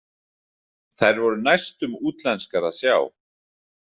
Þær voru næstum útlenskar að sjá.